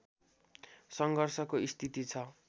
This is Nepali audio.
सङ्घर्षको स्थिति छ